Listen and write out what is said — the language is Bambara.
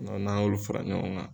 n'an y'olu fara ɲɔgɔn kan.